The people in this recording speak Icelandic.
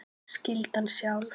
Skyldan sjálf